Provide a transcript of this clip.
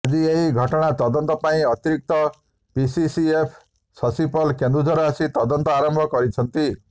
ଆଜି ଏହି ଘଟଣାର ତଦନ୍ତ ପାଇଁ ଅତିରିକ୍ତ ପିସିସିଏଫ୍ ଶଶୀ ପଲ୍ କେନ୍ଦୁଝର ଆସି ତଦନ୍ତ ଆରମ୍ଭ କରିଛନ୍ତି